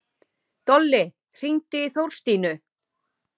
Dolli, hringdu í Þorstínu.